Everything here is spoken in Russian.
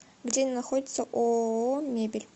где находится ооо мебель